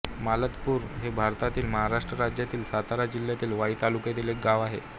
मालतपूर हे भारतातील महाराष्ट्र राज्यातील सातारा जिल्ह्यातील वाई तालुक्यातील एक गाव आहे